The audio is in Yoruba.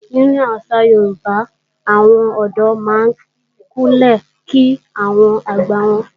Nínú àṣà Yorùbá, àwọn ọ̀dọ́ máa ń Kúnlẹ̀ kí àwọn àgbà wọn.